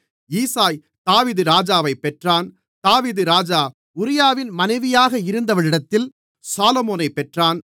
ஈசாய் தாவீது ராஜாவைப் பெற்றான் தாவீது ராஜா உரியாவின் மனைவியாக இருந்தவளிடத்தில் சாலொமோனைப் பெற்றான்